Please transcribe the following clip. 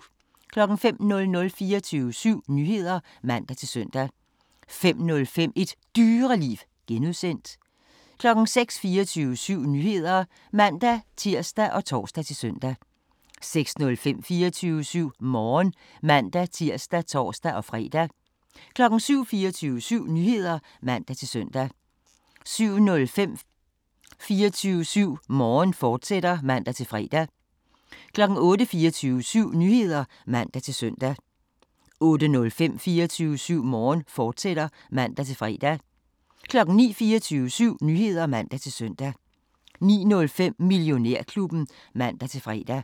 05:00: 24syv Nyheder (man-søn) 05:05: Et Dyreliv (G) 06:00: 24syv Nyheder (man-tir og tor-søn) 06:05: 24syv Morgen (man-tir og tor-fre) 07:00: 24syv Nyheder (man-søn) 07:05: 24syv Morgen, fortsat (man-fre) 08:00: 24syv Nyheder (man-søn) 08:05: 24syv Morgen, fortsat (man-fre) 09:00: 24syv Nyheder (man-søn) 09:05: Millionærklubben (man-fre)